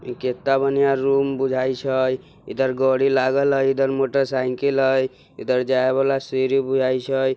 ये किता बढ़िया रूम बुझाई छय। इधर गड़ी लागल हई इधर मोटरसाइकिल हई इधर जाय वाला सीढ़ी बुझाई छय--